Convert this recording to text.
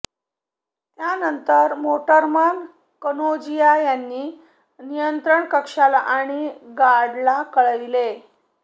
त्यानंतर मोटरमन कनोजिया यांनी नियंत्रण कक्षाला आणि गार्डला कळविले